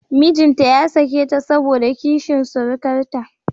Mijinta ya sake ta saboda kishin surukarta